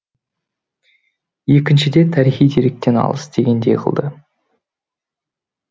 екіншіде тарихи деректен алыс дегендей қылды